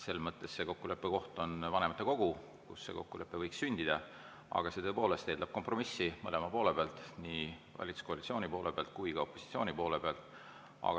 Kokkuleppe koht on vanematekogu, kus see kokkulepe võiks sündida, aga see tõepoolest eeldab kompromissi mõlema poole pealt, nii valitsuskoalitsiooni poole pealt kui ka opositsiooni poole pealt.